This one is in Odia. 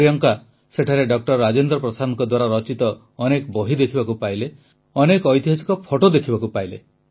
ପ୍ରିୟଙ୍କା ସେଠାରେ ଡ ରାଜେନ୍ଦ୍ର ପ୍ରସାଦଙ୍କ ଦ୍ୱାରା ରଚିତ ଅନେକ ବହି ଦେଖିବାକୁ ପାଇଲେ ଅନେକ ଐତିହାସିକ ଫଟୋ ଦେଖିବାକୁ ପାଇଲେ